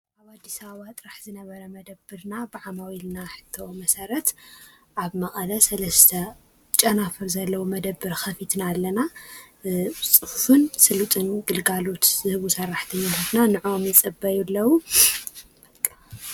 ኣዲስ ኣበባ ጥራሕ ዝነበረ መደብርና ብዓማዊ ልና ሕተ መሠረት ዓብ መዓለ ሠለስተ ጨናፍር ዘለዉ መደብር ኸፊትና ኣለና ጽፍን ሥሉጡን ግልጋሉት ይህቡ ሠራሕተንሎትና ንእም ይጸበዩ ኣለዉ።